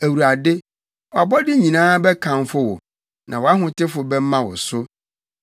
Awurade, wʼabɔde nyinaa bɛkamfo wo; na wʼahotefo bɛma wo so.